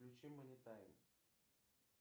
включи монитайм